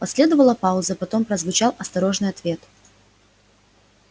последовала пауза потом прозвучал осторожный ответ